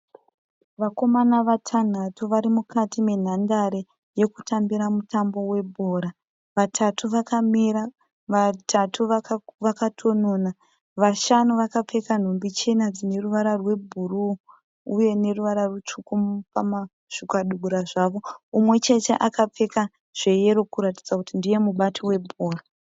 Vakomana vatanhatu vari mukati menhandare yekutambira mutambo webhora. Vatatu vakamira vatatu vakatonona. Vashanu vakapfeka nhumbi chena dzineruvara rwebhuruu uye neruvara rutsvuku pazvikabudura zvavo. Umwechete akapfeka zveyero kuratidza kuti ndiye mubati webhora.